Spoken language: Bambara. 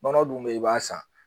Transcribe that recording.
Nɔnɔ dun bɛ yen i b'a san